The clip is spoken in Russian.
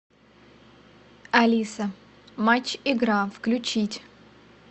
алиса матч игра включить